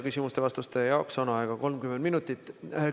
Küsimuste ja vastuste jaoks on aega 30 minutit.